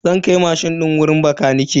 Na kai mashin din wajen bakanike.